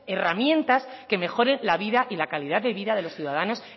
herramientas que mejoren la vida y la calidad de vida de los ciudadanos